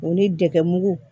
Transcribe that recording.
O ni dɛgɛ mugu